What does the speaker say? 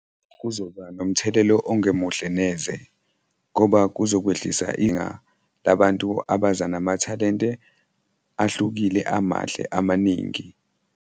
Kuzoba nomthelela ongemuhle neze ngoba kuzokwehlisa inga labantu abaza namathalente ahlukile, amahle, amaningi.